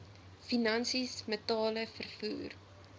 finansies metale vervoer